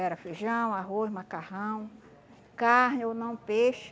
Era feijão, arroz, macarrão, carne ou não, peixe.